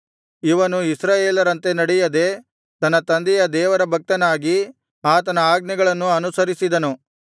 ಇವನು ಇಸ್ರಾಯೇಲರಂತೆ ನಡೆಯದೆ ತನ್ನ ತಂದೆಯ ದೇವರ ಭಕ್ತನಾಗಿ ಆತನ ಆಜ್ಞೆಗಳನ್ನು ಅನುಸರಿಸಿದನು